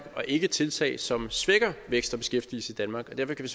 og ikke tiltag som svækker vækst og beskæftigelse i danmark og derfor kan